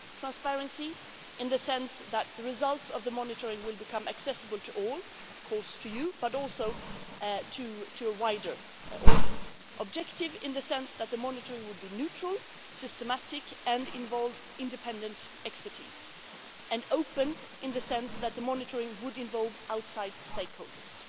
Transparency in the sense that the results of the monitoring will become accessible to all to you, of course, but also to a wider audience. Objectivity in the sense that the monitoring will be neutral, systematic, and involve independent expertise. Open in the sense that the monitoring will involve outside stakeholders.